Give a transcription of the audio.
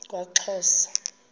kwaxhosa